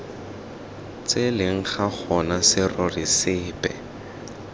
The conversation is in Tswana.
tseleng ga gona serori sepe